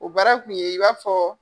O baara kun ye i b'a fɔ